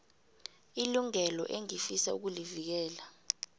ilungelo engifisa ukulivikela